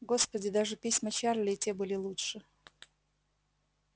господи даже письма чарли и те были лучше